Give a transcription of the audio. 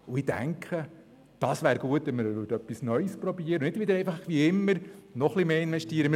Ich denke, es wäre gut, wir würden etwas Neues probieren und nicht, wie immer, einfach etwas mehr investieren.